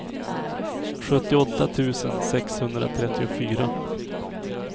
sjuttioåtta tusen sexhundratrettiofyra